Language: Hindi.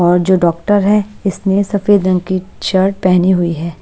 और जो डॉक्टर है इसने सफेद रंग की शर्ट पहनी हुई है।